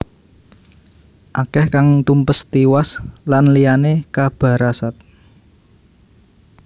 Akeh kang tumpes tiwas lanliyane kabarasat